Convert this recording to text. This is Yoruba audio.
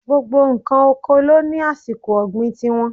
Gbogbo ǹkan oko ló ní àsìkò ọ̀gbìn ti wọn.